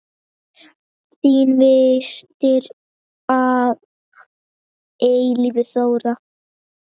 Þín systir að eilífu, Þóra.